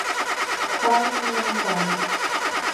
ханна монтана